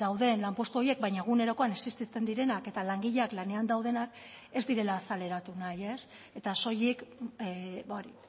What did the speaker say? dauden lanpostu horiek baina egunerokoan existitzen direnak eta langileak lanean daudenak ez direla azaleratu nahi ez eta soilik